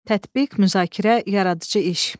Tətbiq, müzakirə, yaradıcı iş.